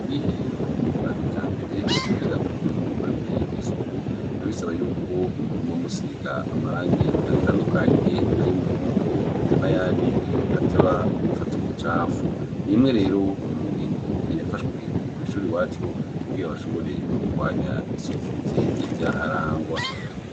Ubwiherero bwa kijambere, kugira ngo bukorerwe isuku, biba bisaba y'uko muguma musiga amarangi atandukanye, ay'umuhondo, eka n'ayandi ateba gufata ubucafu. Ni imwe rero mu ngingo yafashwe kw'ishure iwacu, kugira bashobore kugwanya isuku rike ryaharangwa.